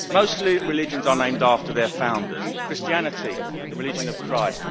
Most religions are named after their founders Christianity, the religion of Christ